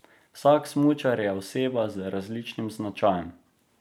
Vsak smučar je oseba z različnim značajem.